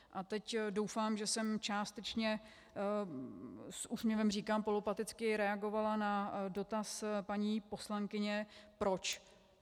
A teď doufám, že jsem částečně - s úsměvem říkám polopaticky - reagovala na dotaz paní poslankyně proč.